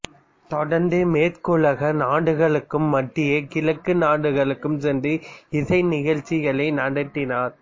தொடர்ந்து மேற்குலக நாடுகளுக்கும் மத்திய கிழக்கு நாடுகளுக்கும் சென்று இசை நிகழ்ச்சிகளை நடத்தினார்